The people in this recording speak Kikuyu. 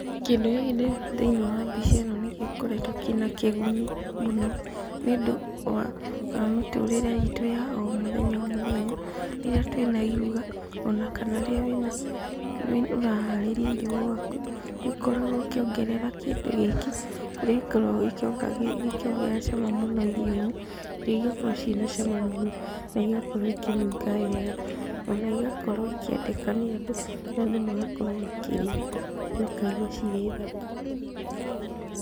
Kĩndũ gĩkĩ ndĩrona thĩinĩ wa mbica ĩno nĩgĩkoretwo kĩna kĩguni mũno, nĩũndũ wa mĩtũrĩre itũ ya omũthenya omũthenya, rĩrĩa twĩna iruga, ona kana rĩrĩa wĩna ũraharĩria irio gwaku, nĩũkoragwo ũkĩongerera kĩndũ gĩkĩ, kũrĩa gĩkoragwo gĩkĩongerera cama mũno irio-inĩ, irio igakorwo ciĩna cama mũno, naigakorwo ikĩnunga wega, ona igakorwo ikĩendeka nĩ andũ, andũ magakorwo makĩrĩa, makaiguacirĩ thaka.